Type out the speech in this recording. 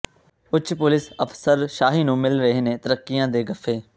ਉੱਚ ਪੁਲਿਸ ਅਫ਼ਸਰਸ਼ਾਹੀ ਨੂੰ ਮਿਲ ਰਹੇ ਨੇ ਤਰੱਕੀਆਂ ਦੇ ਗੱਫ਼ੇ